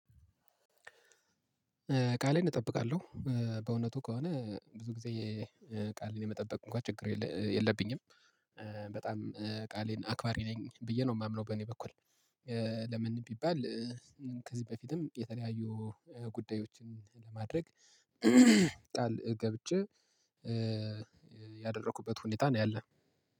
ቃሌን እጠብቃለሁ በእውነቱ ከሆነ ብዙ ጊዜ ቃሌን የመጠበቅ እንኳን ችግር የለብኝም። በጣም ቃሌን አክባሪ ነኝ ብዬ ነው የማምነው በእኔ በኩል። ለምን ቢባል? ከዚህ በፊትም የተለያዩ ጉዳዮችን ለማድረግ ቃል ገብቼ ያደረኩበት ሁኔታ ነው ያለው።